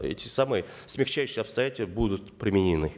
эти самые смягчающие обстоятельства будут применены